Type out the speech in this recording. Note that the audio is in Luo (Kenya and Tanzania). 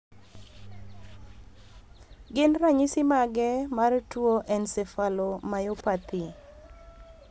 Gin ranyisi mage mar tuo Encephalomyopathy?